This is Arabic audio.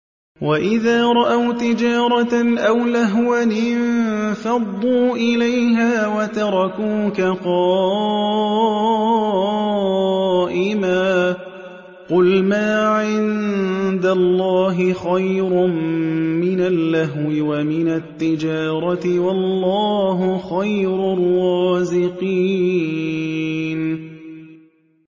وَإِذَا رَأَوْا تِجَارَةً أَوْ لَهْوًا انفَضُّوا إِلَيْهَا وَتَرَكُوكَ قَائِمًا ۚ قُلْ مَا عِندَ اللَّهِ خَيْرٌ مِّنَ اللَّهْوِ وَمِنَ التِّجَارَةِ ۚ وَاللَّهُ خَيْرُ الرَّازِقِينَ